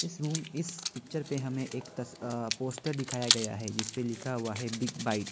इस रूम इस पिक्चर पे हमें एक अ पोस्टर दिखाया गया है जिसपे लिखा हुआ है बिग बाइट्स ।